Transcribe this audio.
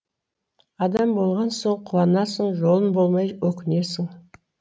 адам болған соң қуанасың жолың болмай өкінесің